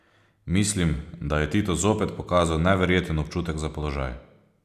Mislim, da je Tito zopet pokazal neverjeten občutek za položaj.